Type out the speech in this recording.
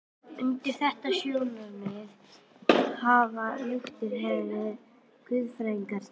Undir þetta sjónarmið hafa lútherskir guðfræðingar tekið.